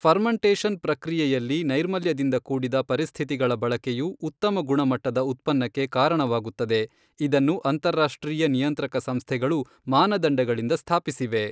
Fermentation ಪ್ರಕ್ರಿಯೆಯಲ್ಲಿ ನೈರ್ಮಲ್ಯದಿಂದ ಕೂಡಿದ ಪರಿಸ್ಥಿತಿಗಳ ಬಳಕೆಯು ಉತ್ತಮ ಗುಣಮಟ್ಟದ ಉತ್ಪನ್ನಕ್ಕೆ ಕಾರಣವಾಗುತ್ತದೆ ಇದನ್ನು ಅಂತರರಾಷ್ಟ್ರೀಯ ನಿಯಂತ್ರಕ ಸಂಸ್ಥೆಗಳು ಮಾನದಂಡಗಳಿಂದ ಸ್ಥಾಪಿಸಿವೆ.